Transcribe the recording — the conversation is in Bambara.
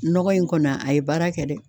Nɔgɔ in kɔni a ye baara kɛ dɛ